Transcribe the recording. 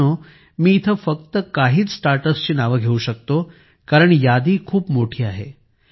मित्रांनो मी येथे फक्त काहीच स्टार्टअप्सची नावे घेऊ शकतो कारण यादी खूप मोठी आहे